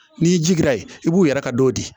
N'i jigira ye i b'u yɛrɛ ka dɔ di